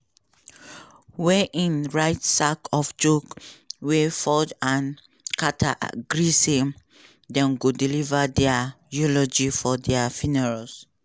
wey im write sake of joke wia ford and carter gree say dem go deliver dia eulogies for dia funerals.